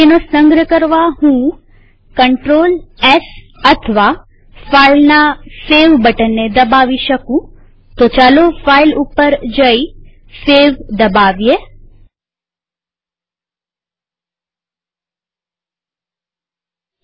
તેનો સંગ્રહ કરવાહું Clts અથવા ફાઈલના સેવ બટનને દબાવી શકુંતો ચાલો હું ફાઈલ ઉપર જઈ સેવ દબાઉં